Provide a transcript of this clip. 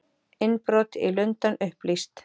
Innbrot í Lundann upplýst